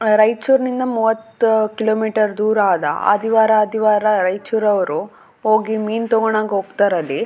ಆ ರೈಚೂರಿಂದ ಮೂವತ್ತು ಕಿಲೋಮೀಟರ್ ದೂರ ಅದಾ ಆದಿವಾರ ಆದಿವಾರ ರೈಚೂರವ್ರು ಹೋಗಿ ಮೀನ್ ತಗೋಣಕ್ಕ ಹೋಗ್ತಾರಲ್ಲಿ.